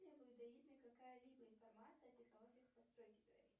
в иудаизме какая либо информация о технологии постройки пирамид